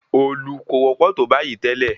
Òòlù kò wọ́pọ̀ tó bayìí tẹ́lẹ̀.